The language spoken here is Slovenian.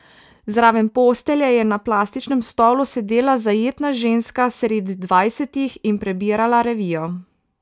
Zraven postelje je na plastičnem stolu sedela zajetna ženska sredi dvajsetih in prebirala revijo.